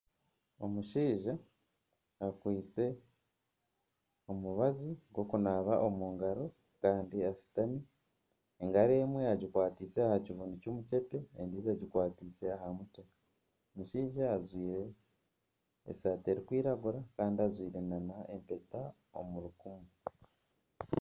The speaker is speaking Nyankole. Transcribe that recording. Omushaija akwaitse omubazi gw'okunaaba omu ngaro kandi ashutami. Engaro emwe agikwatiise aha kibunu ky'omukyepe endiijo agikwatiise aha mutwe. Omushaija ajwaire esaati erikwiragura kandi ajwaire n'empeta omu rukumu.